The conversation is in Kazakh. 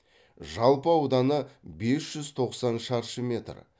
жалпы ауданы бес жүз тоқсан шаршы метр